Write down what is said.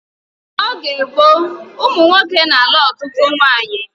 N'oge gboo ụmụ nwoke na-alụ ọtụtụ nwaanyị